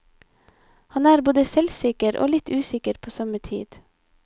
Han er både selvsikker og litt usikker på samme tid.